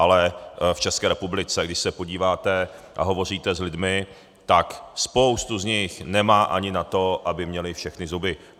Ale v České republice, když se podíváte a hovoříte s lidmi, tak spoustu z nich nemá ani na to, aby měli všechny zuby.